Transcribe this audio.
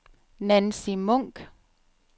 Nancy Munk